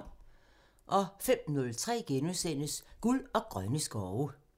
05:03: Guld og grønne skove *(tir)